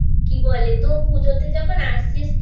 বলে তো পুজোতে যখন আসছিস